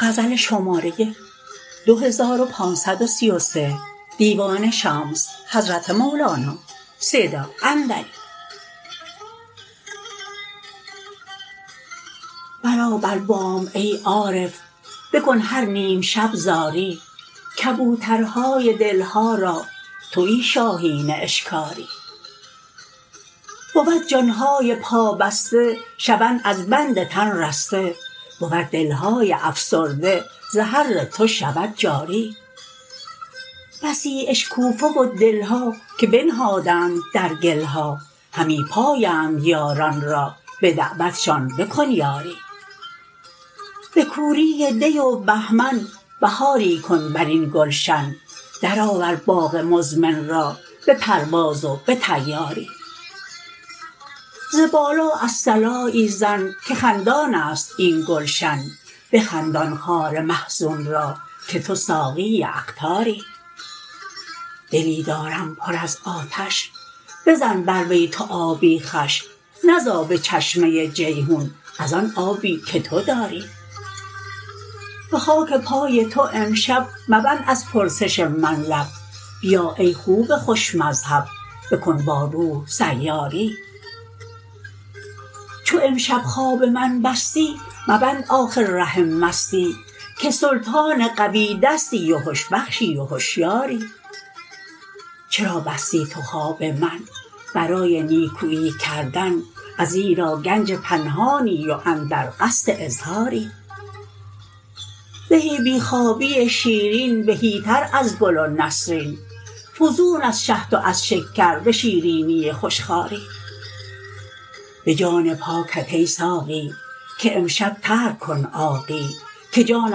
برآ بر بام ای عارف بکن هر نیم شب زاری کبوترهای دل ها را توی شاهین اشکاری بود جان های پابسته شوند از بند تن رسته بود دل های افسرده ز حر تو شود جاری بسی اشکوفه و دل ها که بنهادند در گل ها همی پایند یاران را به دعوتشان بکن یاری به کوری دی و بهمن بهاری کن بر این گلشن درآور باغ مزمن را به پرواز و به طیاری ز بالا الصلایی زن که خندان است این گلشن بخندان خار محزون را که تو ساقی اقطاری دلی دارم پر از آتش بزن بر وی تو آبی خوش نه ز آب چشمه جیحون از آن آبی که تو داری به خاک پای تو امشب مبند از پرسش من لب بیا ای خوب خوش مذهب بکن با روح سیاری چو امشب خواب من بستی مبند آخر ره مستی که سلطان قوی دستی و هش بخشی و هشیاری چرا بستی تو خواب من برای نیکویی کردن ازیرا گنج پنهانی و اندر قصد اظهاری زهی بی خوابی شیرین بهیتر از گل و نسرین فزون از شهد و از شکر به شیرینی خوش خواری به جان پاکت ای ساقی که امشب ترک کن عاقی که جان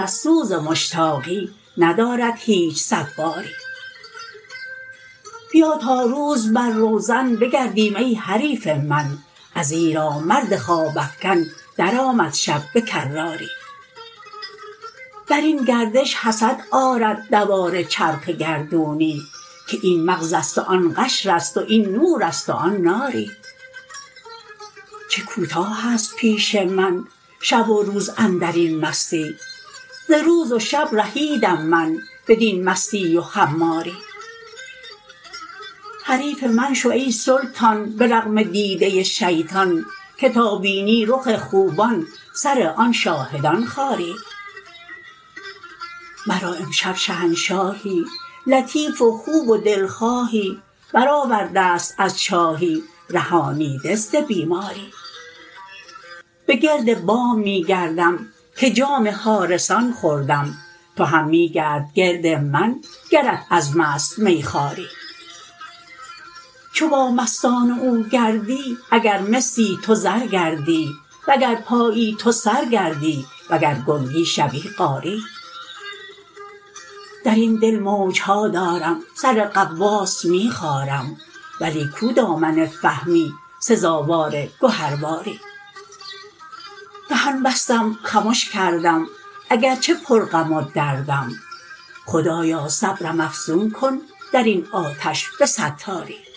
از سوز مشتاقی ندارد هیچ صباری بیا تا روز بر روزن بگردیم ای حریف من ازیرا مرد خواب افکن درآمد شب به کراری بر این گردش حسد آرد دوار چرخ گردونی که این مغز است و آن قشر است و این نور است و آن ناری چه کوتاه است پیش من شب و روز اندر این مستی ز روز و شب رهیدم من بدین مستی و خماری حریف من شو ای سلطان به رغم دیده شیطان که تا بینی رخ خوبان سر آن شاهدان خاری مرا امشب شهنشاهی لطیف و خوب و دلخواهی برآورده ست از چاهی رهانیده ز بیماری به گرد بام می گردم که جام حارسان خوردم تو هم می گرد گرد من گرت عزم است میخواری چو با مستان او گردی اگر مسی تو زر گردی وگر پایی تو سر گردی وگر گنگی شوی قاری در این دل موج ها دارم سر غواص می خارم ولی کو دامن فهمی سزاوار گهرباری دهان بستم خمش کردم اگر چه پرغم و دردم خدایا صبرم افزون کن در این آتش به ستاری